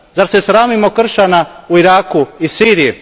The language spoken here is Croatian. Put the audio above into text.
Zar se sramimo kršćana u Iraku i Siriji?